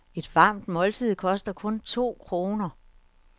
Et varmt måltid koster kun to kroner.